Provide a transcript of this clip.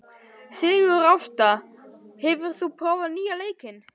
Sigurásta, hefur þú prófað nýja leikinn?